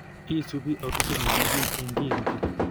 Iisuubi autosomal ne kiim eng' kiinti.